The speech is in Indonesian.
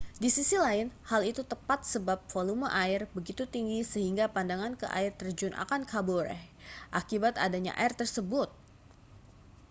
di sisi lain hal itu tepat sebab volume air begitu tinggi sehingga pandangan ke air terjun akan kabur—akibat adanya air tersebut!